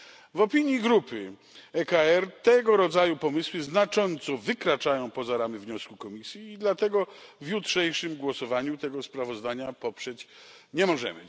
W opinii grupy EKR tego rodzaju pomysły znacząco wykraczają poza ramy wniosku Komisji i dlatego w jutrzejszym głosowaniu tego sprawozdania poprzeć nie możemy.